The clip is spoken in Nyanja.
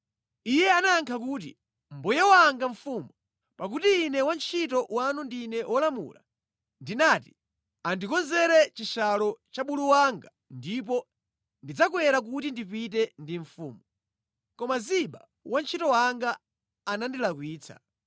Iye anayankha kuti, “Mbuye wanga mfumu, pakuti ine wantchito wanu ndine wolumala. Ndinati, ‘Andikonzere chishalo cha bulu wanga ndipo ndidzakwera kuti ndipite ndi mfumu.’ Koma Ziba wantchito wanga anandilakwitsa.